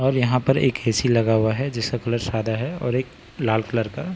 और यहां पर एक हे_सी लगा हुआ है जिसका कलर सादा है और एक लाल कलर का--